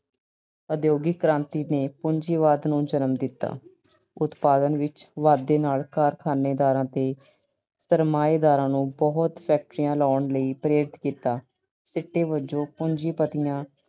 ਉਦਯੋਗਿਕ ਕ੍ਰਾਂਤੀ ਨੇ ਪੂੰਜੀਵਾਦ ਨੂੰ ਜਨਮ ਦਿੱਤਾ। ਉਤਪਾਦਨ ਵਿੱਚ ਵਾਧੇ ਨਾਲ ਕਾਰਖਾਨੇਦਾਰਾਂ ਤੇ ਸਰਮਾਏਦਾਰਾਂ ਨੂੰ ਬਹੁਤ factories ਲਾਉਣ ਲਈ ਪ੍ਰੇਰਿਤ ਕੀਤਾ। ਸਿੱਟੇ ਵਜੋਂ ਪੂੰਜੀਪਤੀਆਂ